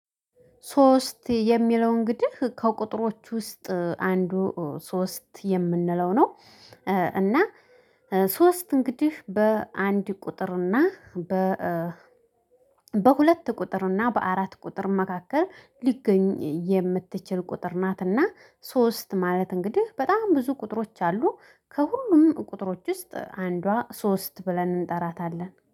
ሶስት የሚለው እንግዲህ ከቁጥሮች ውስጥ አንዱ ሶስት የምንለው ነው። እና ሶስት እንግዲህ በአንድ ቁጥር እና በ በሁለት ቁጥር እና በአራት ቁጥር መካከል ሊገኝ የምትችል ቁጥር ናትና። ሶስት ማለት እንግዲህ በጣም ብዙ ቁጥሮች አሉ። ከሁሉም ቁጥሮች ውስጥ አንዷ ሶስት ብለን እንጠራታለን